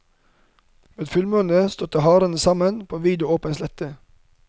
Ved fullmåne støtte hærene sammen på en vid og åpen slette.